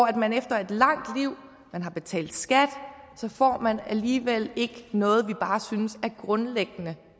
at man efter et langt liv man har betalt skat alligevel ikke noget vi bare synes er grundlæggende